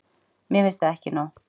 Mér finnst það ekki nóg.